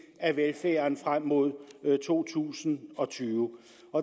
af velfærden frem mod to tusind og tyve